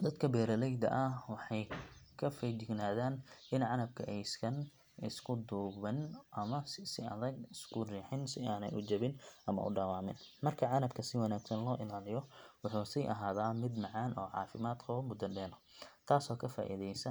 Dadka beeraleyda ah waxay ka feejignaadaan in canabka aysan isku duubnaan ama si adag isku riixin si aanay u jabin ama u dhaawacmin. Marka canabka si wanaagsan loo ilaaliyo, wuxuu sii ahaadaa mid macaan oo caafimaad qaba muddo dheer, taasoo ka faa’iideysa .